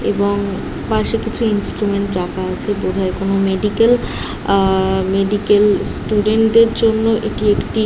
এবং পাশে কিছু ইন্সট্রুমেন্ট রাখা আছে বোধ হয় কোন মেডিকেল আ মেডিকেল স্টুডেন্ট দের জন্য একি একটি --